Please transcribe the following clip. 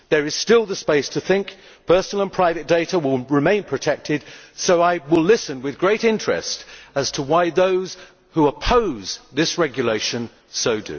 There is still the space to think that personal and private data will remain protected, so I will listen with great interest as to why those who oppose this regulation do so.